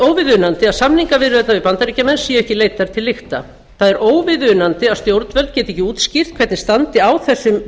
óviðunandi að samningaviðræðurnar við bandaríkjamenn séu ekki leiddar til lykta það er óviðunandi að stjórnvöld geti ekki útskýrt hvernig á þessum